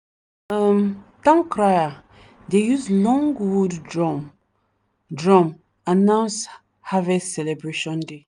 the um town crier dey use long wood drum drum announce harvest celebration day.